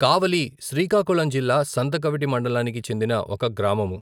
కావలి శ్రీకాకుళం జిల్లా సంతకవిటి మండలానికి చెందిన ఒక గ్రామము.